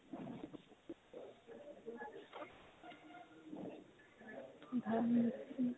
ভালে । উম।